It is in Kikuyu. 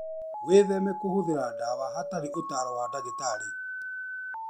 Wĩtheme kũhũthĩra ndawa hatarĩ ũtaaro wa ndagĩtarĩ.